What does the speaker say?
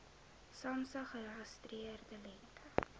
samsa geregistreerde lengte